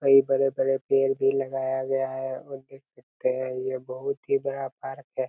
कई बड़े-बड़े पेड़ भी लगाया गया है और देख सकते है ये बहोत ही बड़ा पार्क है।